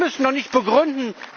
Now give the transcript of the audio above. Wir müssen doch nichts begründen!